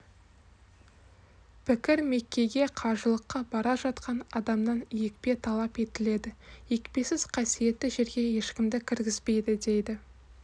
пікір меккеге қажылыққа бара жатқан адамнан екпе талап етіледі екпесіз қасиетті жерге ешкімді кіргізбейді дейді